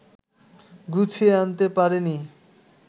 গুছিয়ে আনতে পারেনি